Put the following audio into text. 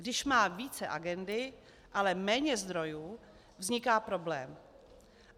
Když má více agendy, ale méně zdrojů, vzniká problém.